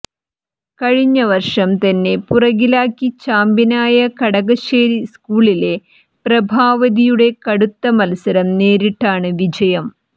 കഴിഞ്ഞ വർഷം തന്നെ പുറകിലാക്കി ചാമ്പ്യനായ കടകശ്ശേരി സ്കൂളിലെ പ്രഭാവതിയുടെ കടുത്ത മത്സരം നേരിട്ടാണ് വിജയം